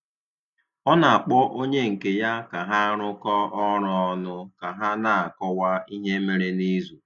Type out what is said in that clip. Ọ na-akpọ onye nke ya ka ha rụkọ ọrụ ọnụ ka ha na-akọwa ihe mere n’izu.